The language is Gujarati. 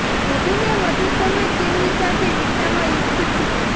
વધુ ને વધુ સમય તેમની સાથે વિતાવવા ઇચ્છું છું